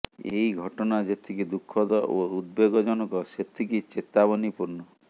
ଏହି ଘଟନା ଯେତିକି ଦୁଃଖଦ ଓ ଉଦ୍ବେଗଜନକ ସେତିକି ଚେତାବନୀପୂର୍ଣ୍ଣ